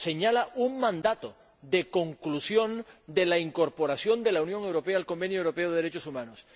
Señala un mandato de conclusión de la incorporación de la Unión Europea al Convenio Europeo de Derechos Humanos.